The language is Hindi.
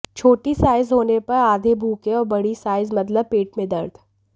छोटी साइज होने पर आधे भूखे और बड़ी साइज मतलब पेट मे दर्द